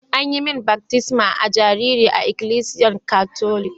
An yi mun baftisma a'jariri a ikilisiyan Catholic.